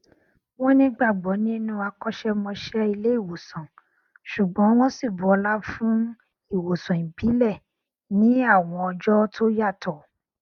wọn nígbàgbọ nínú akọṣẹmọṣẹ ilé ìwòsàn ṣùgbọn wọn sì bu ọlá fún ìwòsàn ìbílẹ ní àwọn ọjọ tó yàtọ